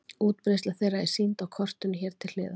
Útbreiðsla þeirra er sýnd á kortinu hér til hliðar.